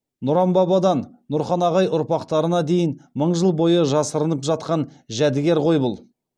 нұран бабадан нұрхан ағай ұрпақтарына дейін мың жыл бойы жасырынып жатқан жәдігер ғой бұл